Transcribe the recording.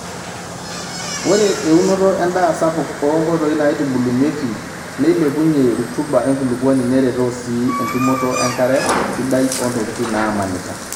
Ore eunoto endaa sapuk oonkoitoi naaitubulunyieki, neilepunyie rutuba enkulupuoni neretoo sii entumoto enkare sadai ontokitin naamanita